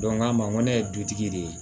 a ma ko ne ye dutigi de ye